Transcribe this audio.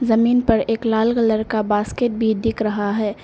जमीन पर एक लाल कलर का बास्केट भी दिख रहा है।